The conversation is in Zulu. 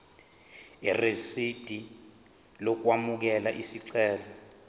irisidi lokwamukela isicelo